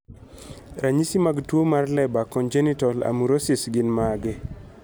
Ranyisi mag tuwo mar Leber congenital amaurosis gin mage?